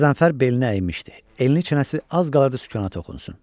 Qəzənfər belini əymişdi, elə bil çənəsi az qala sükanə toxunsun.